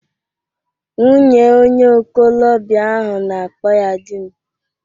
Nwunye onye okolobia ahụ na-akpọ ya di m